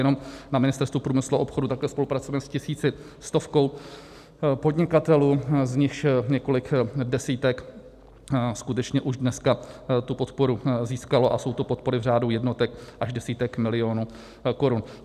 Jenom na Ministerstvu průmyslu a obchodu takhle spolupracujeme s tisíci... stovkou podnikatelů, z nichž několik desítek skutečně už dneska tu podporu získalo, a jsou to podpory v řádu jednotek až desítek milionů korun.